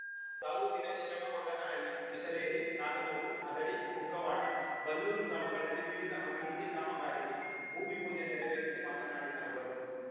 ತಾಲೂಕಿನ ಶಿರಮಗೊಂಡನಹಳ್ಳಿ ಬಿಸಲೇರಿ ನಾಗನೂರು ಹದಡಿ ಕುಕ್ಕವಾಡ ಬಲ್ಲೂರು ಗ್ರಾಮಗಳಲ್ಲಿ ವಿವಿಧ ಅಭಿವೃದ್ಧಿ ಕಾಮಗಾರಿಗೆ ಭೂಮಿಪೂಜೆ ನೆರವೇರಿಸಿ ಮಾತನಾಡಿದ ಅವರು